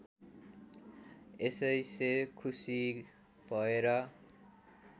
यसैसे खुसि भएर